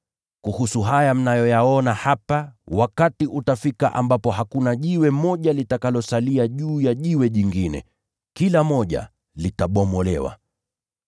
“Kuhusu haya mnayoyaona hapa, wakati utafika ambapo hakuna jiwe moja litakalobaki juu ya jingine, bali kila moja litabomolewa.”